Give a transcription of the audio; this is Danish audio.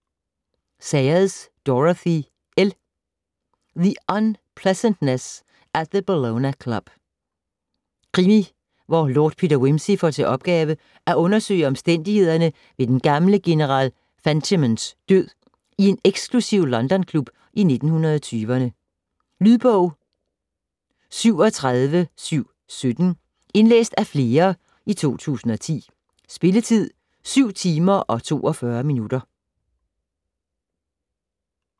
Sayers, Dorothy L.: The unpleasantness at the Bellona Club Krimi hvor Lord Peter Wimsey får til opgave at undersøge omstændighederne ved den gamle general Fentimans død i en eksklusiv London-klub i 1920'erne. Lydbog 37717 Indlæst af flere, 2010. Spilletid: 7 timer, 42 minutter.